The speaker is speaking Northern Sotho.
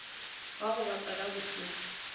wa go ba kwela bohloko